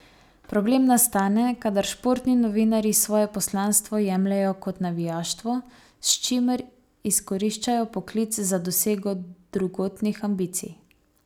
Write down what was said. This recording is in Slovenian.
Problem nastane, kadar športni novinarji svoje poslanstvo jemljejo kot navijaštvo, s čimer izkoriščajo poklic za dosego drugotnih ambicij.